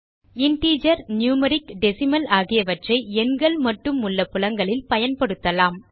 integer numeric decimal ஆகியவற்றை எண்கள் மட்டும் உள்ள புலங்களில் பயன்படுத்தலாம்